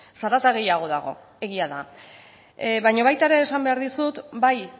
zarata gehiago dago egia da baino baita ere esan behar dizut bai